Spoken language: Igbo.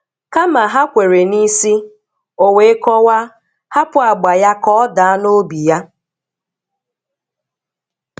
"Kama ha kwere n'isi", o wee kọwaa, hapụ agba ya ka ọ daa n'obi ya.